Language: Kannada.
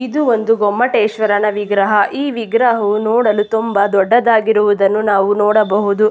ಇದು ಒಂದು ಗೊಮ್ಮಟೇಶ್ವರನ ವಿಗ್ರಹ ಈ ವಿಗ್ರಹವು ನೋಡಲು ತುಂಬಾ ದೊಡ್ಡದಾಗಿರುವುದನ್ನು ನಾವು ನೋಡಬಹುದು.